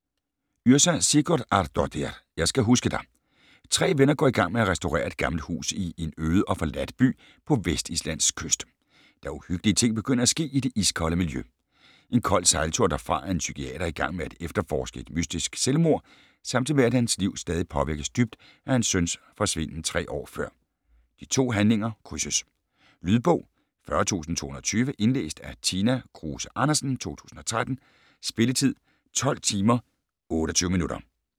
Yrsa Sigurðardóttir: Jeg skal huske dig Tre venner går i gang med at restaurere et gammelt hus i en øde og forladt by på Vestislands kyst, da uhyggelige ting begynder at ske i det iskolde miljø. En kold sejltur derfra er en psykiater i gang med at efterforske et mystisk selvmord, samtidig med at hans liv stadig påvirkes dybt af hans søns forsvinden 3 år før. De to handlinger krydses. Lydbog 40220 Indlæst af Tina Kruse Andersen, 2013. Spilletid: 12 timer, 28 minutter.